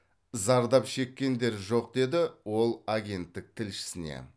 зардап шеккендер жоқ деді ол агенттік тілшісіне